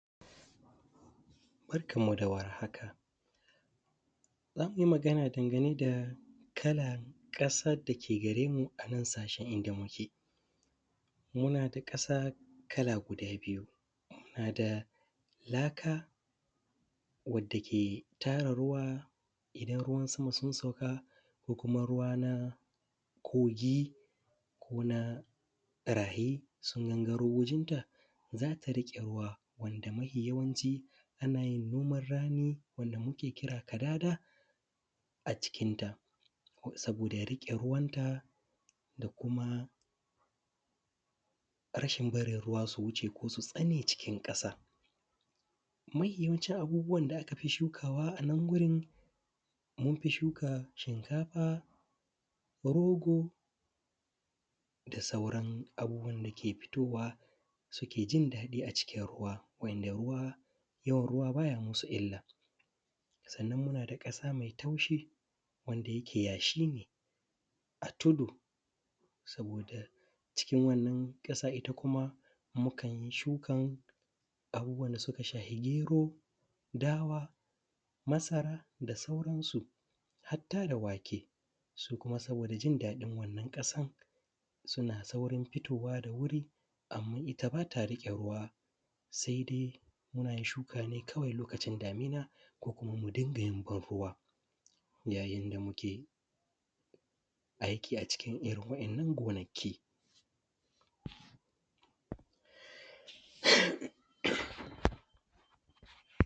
Barkanmu da warhaka. Za mu yi magana dangane da kalar ƙasar da ke gare mu a nan sashen inda muke. Muna da ƙasa kala guda biyu. Muna da laka wadda ke tara ruwa idan ruwan sama sun sauka, ko kuma ruwa na kogi, ko na rahi, sun gangaro wajenta, za ka riƙe ruwa wanda mafi yawanci, ana yin noman rani wanda muke kira ‘kadada’ a cikinta, saboda ya riƙe ruwanta da kuma rashin barin ruwa su wuce ko su tsane cikin ƙasa. Mahi yawancin abubuwan da aka fi shukawa a nan wurin, mun fi shuka shinkafa, rogo, da sauran abubuwan da ke fitowa suke jin daɗi a cikin ruwa, wa`yanda ruwa, yawan ruwa ba ya musu illa. Sannan muna da ƙasa mai taushi, wanda yake yashi ne a tudu, saboda cikin wannan ƙasa ita kuma, mukan yi shukan abubuwan da suka shafi gero, dawa, masara, da sauransu. Hatta da wake, su kuma saboda jin daɗin wannan ƙasar, suna saurin fitowa da wuri, amma ita ba ta riƙe ruwa. Sai dai, muna yin shuka ne kawai lokacin damina ko, ko kuma mu dinga yin ban-ruwa, yayin da muke aiki a cikin iri wa`yannan gonaki.